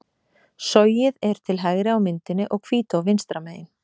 Sogið er til hægri á myndinni og Hvítá vinstra megin.